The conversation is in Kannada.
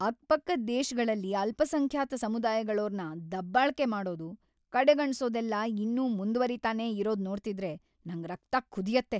ಅಕ್ಕಪಕ್ಕದ್ ದೇಶಗಳಲ್ಲಿ ಅಲ್ಪಸಂಖ್ಯಾತ ಸಮುದಾಯಗಳೋರ್ನ ದಬ್ಬಾಳ್ಕೆ ಮಾಡೋದು, ಕಡೆಗಣ್ಸೋದೆಲ್ಲ ಇನ್ನೂ ಮುಂದ್ವರಿತಾನೇ ಇರೋದ್ ನೋಡ್ತಿದ್ರೆ ನಂಗ್ ರಕ್ತ ಕುದಿಯತ್ತೆ.